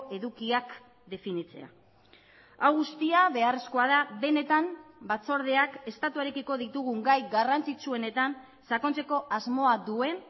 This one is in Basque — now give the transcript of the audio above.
edukiak definitzea hau guztia beharrezkoa da benetan batzordeak estatuarekiko ditugun gai garrantzitsuenetan sakontzeko asmoa duen